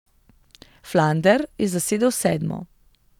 Flander je zasedel sedmo.